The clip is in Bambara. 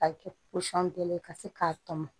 A bɛ kɛ pɔsɔn bɛɛ ye ka se k'a tɔmɔ